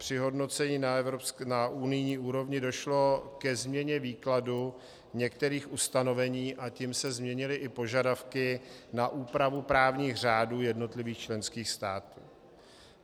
Při hodnocení na unijní úrovni došlo ke změně výkladu některých ustanovení, a tím se změnily i požadavky na úpravu právních řádů jednotlivých členských států.